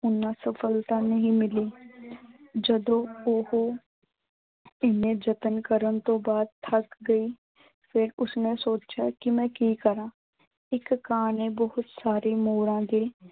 ਉਨ੍ਹਾਂ ਸਫਲਤਾ ਨਹੀਂ ਮਿਲੀ। ਜਦੋਂ ਉਹੋ ਇਨੇ ਯਤਨ ਕਰਨ ਤੋਂ ਬਾਅਦ ਥੱਕ ਗਈ ਫਿਰ ਉਸਨੇ ਸੋਚਿਆ ਕਿ ਮੈਂ ਕੀ ਕਰਾਂ। ਇੱਕ ਕਾਂ ਨੇ ਬਹੁਤ ਸਾਰੇ ਮੋਰਾਂ ਦੇ